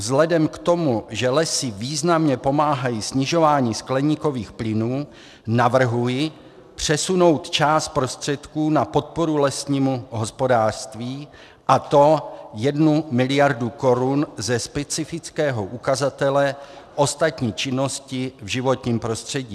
Vzhledem k tomu, že lesy významně pomáhají snižování skleníkových plynů, navrhuji přesunout část prostředků na podporu lesnímu hospodářství, a to 1 miliardu korun ze specifického ukazatele ostatní činnosti v životním prostředí.